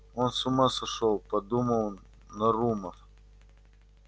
он с ума сошёл подумал нарумов